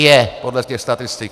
Je podle těch statistik!